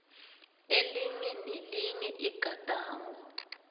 elinye nelinye igadango